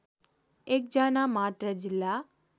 एक जनामात्र जिल्ला